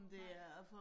Nej